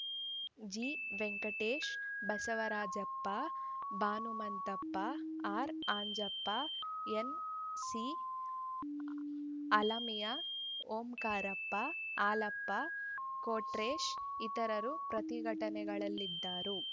ಜಿವೆಂಕಟೇಶ ಬಸವರಾಜಪ್ಪ ಬನುಮಂತಪ್ಪ ಆರ್‌ಅಂಜಿನಪ್ಪ ಎನ್‌ಸಿಅಲ್ಲಾಮಿಯಾ ಓಂಕಾರಪ್ಪ ಹಾಲಪ್ಪ ಕೊಟ್ರೇಶ್ ಇತರರು ಪ್ರತಿಘಟನೆಗಳಲ್ಲಿದ್ದರು